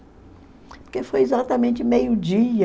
Porque foi exatamente meio-dia